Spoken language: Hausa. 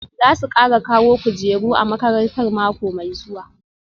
Za su kara kawo kujeru a makarantar mako mai zuwa